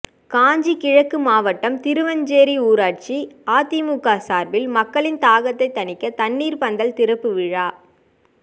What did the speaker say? காஞ்சி கிழக்கு மாவட்டம் திருவஞ்சேரி ஊராட்சி அதிமுக சார்பில் மக்களின் தாகத்தை தணிக்க தண்ணீர் பந்தல் திறப்பு விழா